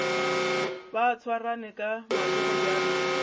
ba swarane ka matsogo bjalo